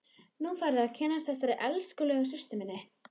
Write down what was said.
Nú færðu að kynnast þessari elskulegu systur minni!